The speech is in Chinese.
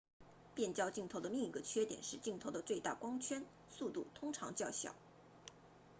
变焦镜头的另一个缺点是镜头的最大光圈速度通常较小